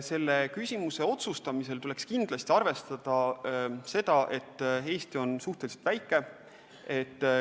Selle küsimuse otsustamisel tuleks kindlasti arvestada seda, et Eesti on suhteliselt väike.